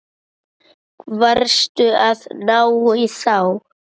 Varstu að ná í þá?